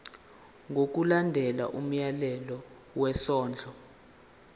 ngokulandela umyalelo wesondlo